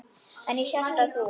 En ég hélt að þú.